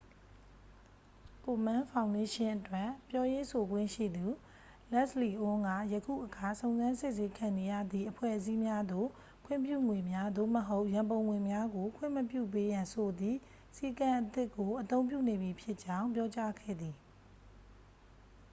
ကိုမန်းဖောင်ဒေးရှင်းအတွက် ပြောရေးဆိုခွင့်ရှိသူ လက်စ်လီအွန်းက ယခုအခါ စုံစမ်းစစ်ဆေးခံနေရသည့် အဖွဲ့အစည်းများသို့ ခွင့်ပြုငွေများ သို့မဟုတ် ရန်ပုံငွေများကို ခွင့်မပြုပေးရန်ဆိုသည့် စည်းကမ်းအသစ်ကို အသုံးပြုနေပြီဖြစ်ကြောင်း ပြောကြားခဲ့သည်